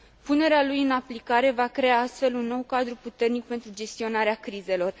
Punerea lui în aplicare va crea astfel un nou cadru puternic pentru gestionarea crizelor.